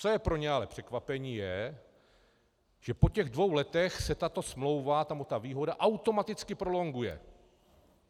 Co je pro ně ale překvapení, je, že po těch dvou letech se tato smlouva, k tomu ta výhoda, automaticky prolonguje.